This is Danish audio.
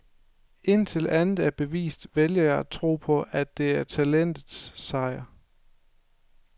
Indtil andet er bevist, vælger jeg at tro på, at det er talentets sejr.